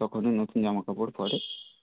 তখনই নতুন জামা কাপড় পড়ে.